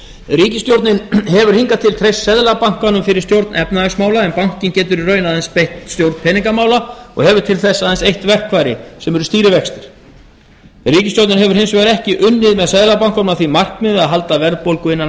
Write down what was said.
ríkisstjórnin hefur hingað til treyst seðlabankanum fyrir stjórn efnahagsmála en bankinn getur í raun aðeins beitt stjórn peningamála og hefur til þess aðeins eitt verkfæri sem eru stýrivextir ríkisstjórnin hefur hins vegar ekki unnið með seðlabankanum að því markmiði að halda verðbólgu innan